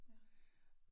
Ja